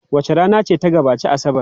Wace rana ce ta gabaci Asabar?